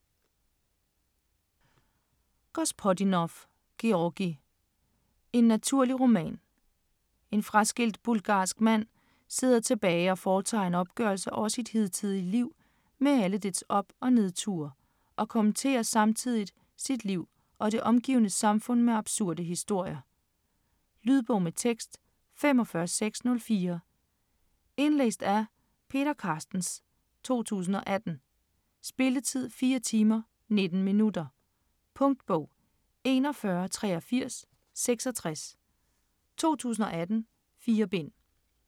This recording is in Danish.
Gospodinov, Georgi: En naturlig roman En fraskilt bulgarsk mand sidder tilbage og foretager en opgørelse over sit hidtidige liv med alle dets op- og nedture og kommenterer samtidigt sit liv og det omgivende samfund med absurde historier. Lydbog med tekst 45604 Indlæst af Peter Carstens, 2018. Spilletid: 4 timer, 19 minutter. Punktbog 418366 2018. 4 bind.